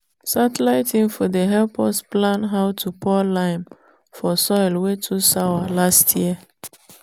satellite info dey help us plan how to pour lime for soil wey too sour last year.